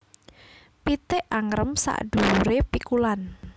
Pitik angrem saduwure pikulan